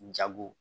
Jago